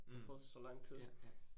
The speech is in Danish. Mh. Ja, ja